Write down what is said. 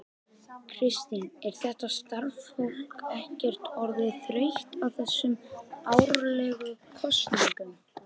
Kristín, er þetta starfsfólk ekkert orðið þreytt á þessum árlegu kosningum?